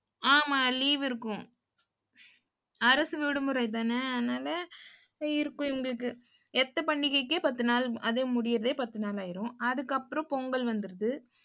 ஆமா, leave இருக்கும் அரசு விடுமுறை தானே அதனால இருக்கும் இவங்களுக்கு. எத்த பண்டிகைக்கு பத்து நாள் அது முடியிறதே பத்து நாள் ஆயிடும் அதுக்கப்புறம் பொங்கல் வந்துடுது.